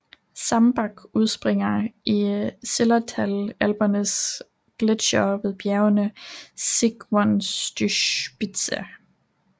Zemmbach udspringer i Zillertal Alpernes gletsjere ved bjerget Zsigmondyspitze